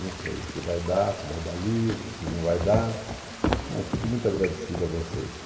Não sei o que vai dar, se vai dar livro, se não vai dar, mas fico muito agradecido a vocês.